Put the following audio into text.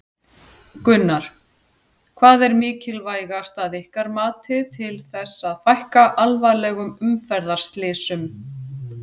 Gunnar: Hvað er mikilvægast að ykkar mati til þess að fækka alvarlegum umferðarslysum?